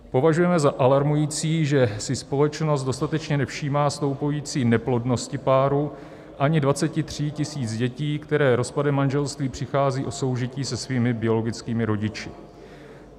Považujeme za alarmující, že si společnost dostatečně nevšímá stoupající neplodnosti párů ani 23 tisíc dětí, které rozpadem manželství přichází o soužití se svými biologickými rodiči.